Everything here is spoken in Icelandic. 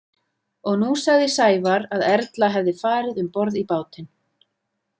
Og nú sagði Sævar að Erla hefði farið um borð í bátinn.